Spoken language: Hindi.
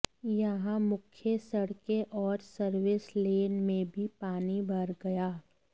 यहां मुख्य सड़कें और सर्विस लेन में भी पानी भर गया